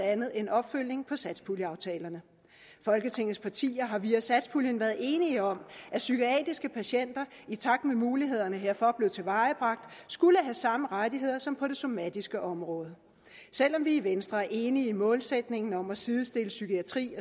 andet en opfølgning på satspuljeaftalerne folketingets partier har via satspuljen været enige om at psykiatriske patienter i takt med at mulighederne herfor blev tilvejebragt skulle have samme rettigheder som på det somatiske område selv om vi i venstre er enige i målsætningen om at sidestille psykiatri